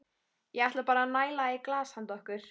Ég ætla bara að næla í glas handa okkur.